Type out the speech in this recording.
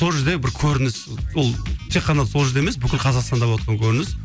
сол жерде бір көрініс ол тек қана сол жерде емес бүкіл қазақстанда болыватқан көрініс